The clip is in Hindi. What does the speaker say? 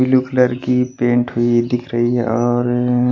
ब्लू कलर की पेंट हुई दिख रही है और --